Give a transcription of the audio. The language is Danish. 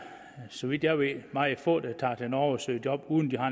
så vidt jeg ved meget få der tager til norge og søger job uden at